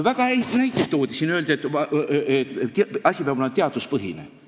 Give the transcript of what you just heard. Väga häid näiteid toodi siin, öeldi, et asi peab olema teaduspõhine.